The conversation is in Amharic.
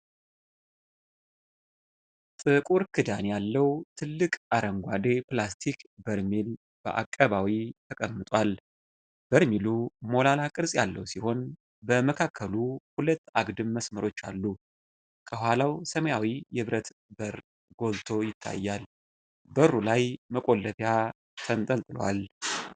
ጥቁር ክዳን ያለው ትልቅ አረንጓዴ ፕላስቲክ በርሜል በአቀባዊ ተቀምጧል። በርሜሉ ሞላላ ቅርጽ ያለው ሲሆን በመካከሉ ሁለት አግድም መስመሮች አሉ። ከኋላው ሰማያዊ የብረት በር ጎልቶ ይታያል፤ በሩ ላይ መቆለፊያ ተንጠልጥሏል።